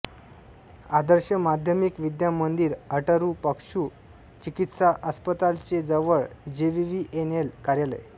आदर्श माध्यमिक विद्या मंदिर अटरू पशु चिकित्सा अस्पताल चे जवळ जेवीवीएनएल कार्यालय